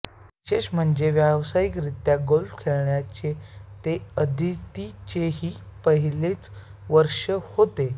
विशेष म्हणजे व्यावसायिकरीत्या गोल्फ खेळण्याचे ते अदितीचेही हे पहिलेच वर्ष होते